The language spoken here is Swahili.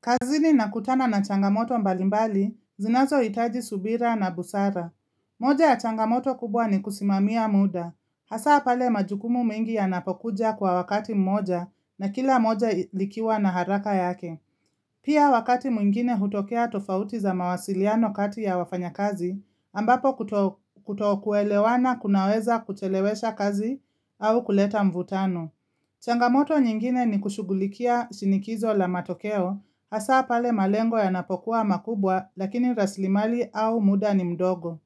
Kazini nakutana na changamoto mbalimbali, zinazo itaji subira na busara. Moja ya changamoto kubwa ni kusimamia muda. Hasa pale majukumu mengi yanapokuja kwa wakati mmoja na kila moja likiwa na haraka yake. Pia wakati mwingine hutokea tofauti za mawasiliano kati ya wafanya kazi, ambapo kuto kuelewana kunaweza kuchelewesha kazi au kuleta mvutano. Changamoto nyingine ni kushugulikia shinikizo la matokeo, hasa pale malengo yanapokuwa makubwa lakini raslimali au muda ni mdogo.